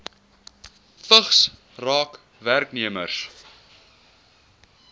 vigs raak werknemers